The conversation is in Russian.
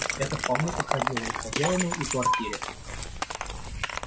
это вполне подходило и хозяину и квартире